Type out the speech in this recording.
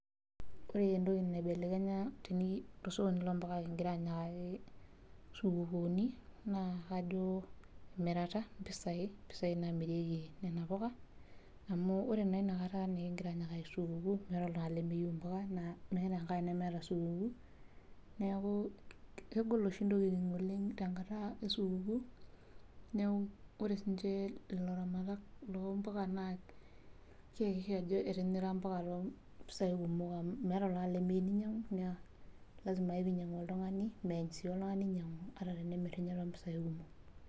Ore entoki naibelekenya tosokoni loompuka kingira anyikaki supukuuni naa kaji emitara ,mpisai namirieki Nena puka amu ore naa inakata naa esupukuu meeta oltungani lemeyieu mpuka naa meeta enkang nemeeta supukuuni. Neeku naa kegol oshi ntokiting oleng tenkata esupukuu, neeku ore siininche laramatak loompuka naa keakikisha ajo etira mpuka toompisai kumok amu meeta oltungani lemeyieu neinyangu naa lasima pee einyangu oltungani, meeny sii oltungani ainyangu ata tenemir ninye toompisai kumok.